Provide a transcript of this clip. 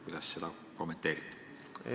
Kuidas te seda kommenteerite?